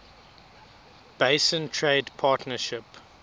basin trade partnership